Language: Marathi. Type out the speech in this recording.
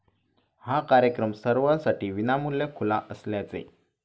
हा कार्यक्रम सर्वांसाठी विनामुल्य खुला असल्याचे.